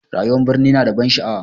Rayuwar birni ya na da ban sha'awa